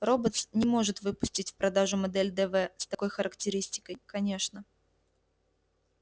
роботс не может выпустить в продажу модель дв с такой характеристикой конечно